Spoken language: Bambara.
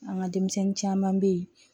An ka denmisɛnnin caman bɛ yen